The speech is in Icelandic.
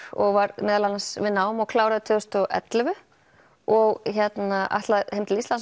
og var meðal annars við nám og kláraði tvö þúsund og ellefu og ætlaði heim til Íslands